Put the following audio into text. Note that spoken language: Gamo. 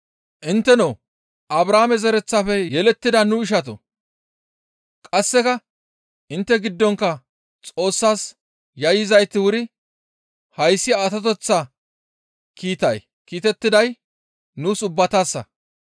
«Intteno Abrahaame zereththafe yelettida nu ishatoo! Qasseka intte giddonkka Xoossas yayyizayti wuri hayssi atoteththa kiitay kiitettiday nuus ubbatassa!